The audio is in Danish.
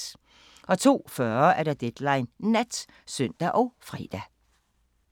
02:40: Deadline Nat (søn og fre)